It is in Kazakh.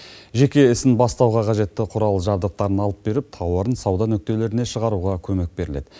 жеке ісін бастауға қажетті құрал жабдықтарын алып беріп тауарын сауда нүктелеріне шығаруға көмек беріледі